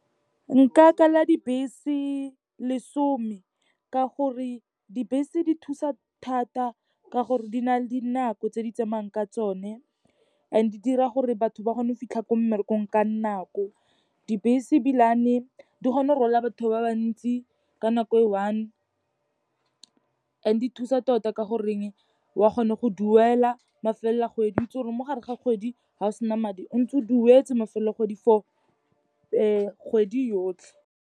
Nka kala dibese lesome ka gore dibese di thusa thata ka gore di na le dinako tse di tsamayang ka tsone, and di dira gore batho ba kgone go fitlha ko mmerekong ka nako. Dibese ebilane dikgona go rwala batho ba bantsi ka nako e one, and di thusa tota ka goreng, o a kgona go duela mafelelo a kgwedi. O itse gore mo gare ga kgwedi ga o sena madi o ntse o duetse mafelelo a kgwedi for kgwedi yotlhe.